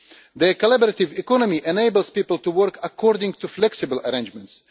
The collaborative economy enables people to work according to flexible arrangements.